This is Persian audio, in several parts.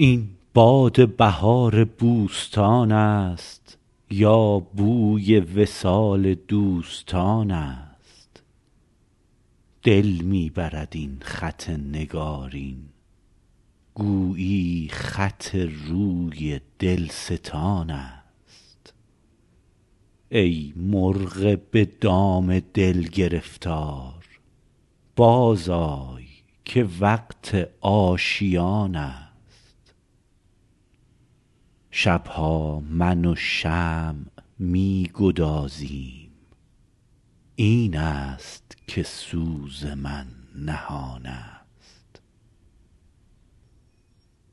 این باد بهار بوستان است یا بوی وصال دوستان است دل می برد این خط نگارین گویی خط روی دلستان است ای مرغ به دام دل گرفتار بازآی که وقت آشیان است شب ها من و شمع می گدازیم این است که سوز من نهان است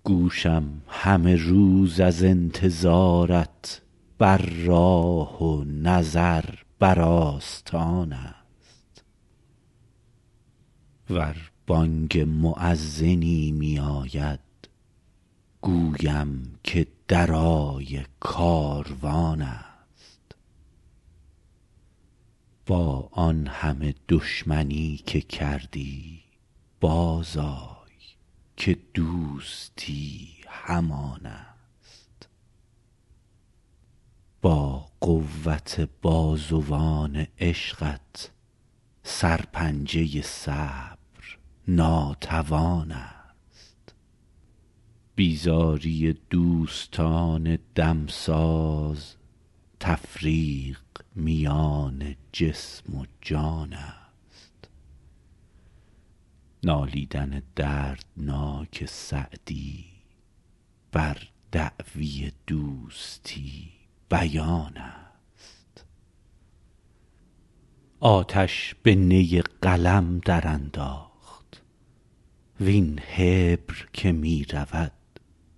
گوشم همه روز از انتظارت بر راه و نظر بر آستان است ور بانگ مؤذنی میاید گویم که درای کاروان است با آن همه دشمنی که کردی بازآی که دوستی همان است با قوت بازوان عشقت سرپنجه صبر ناتوان است بیزاری دوستان دمساز تفریق میان جسم و جان است نالیدن دردناک سعدی بر دعوی دوستی بیان است آتش به نی قلم درانداخت وین حبر که می رود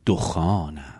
دخان است